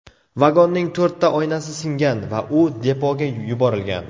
Vagonning to‘rtta oynasi singan va u depoga yuborilgan.